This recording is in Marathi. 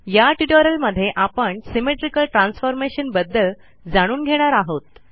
या ट्युटोरियलमध्ये आपण सिमेट्रिकल Transformationबद्दल जाणून घेणार आहोत